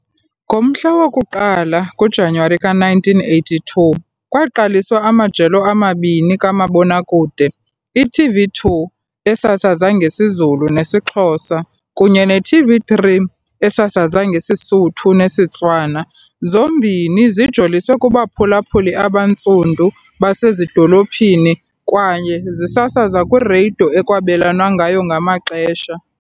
Ngomhla woku-1 ngoJanuwari ka-1982, kwaqaliswa amajelo amabini kamabonakude- iTV2, esasaza ngesiZulu nesiXhosa, kunye ne-TV3, esasaza ngesiSotho nesiTswana, zombini zijoliswe kubaphulaphuli abaNtsundu basezidolophini kwaye zisasazwa kwirediyo ekwabelwana ngayo ngamaxesha.